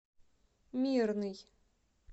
мирный